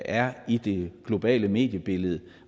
er i det globale mediebillede